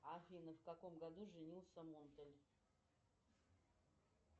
афина в каком году женился монтель